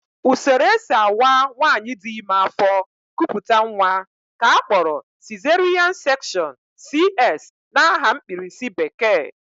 Usoro e si awa nwaanyị dị ime afọ, kupụta nnwa ka a kpọrọ sizeriyan sekshọn (CS) n'aha mkpirisi bekee